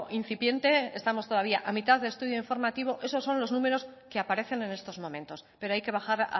incipiente estamos todavía a mitad de estudio informativo esos son los números que aparecen en estos momentos pero hay que bajar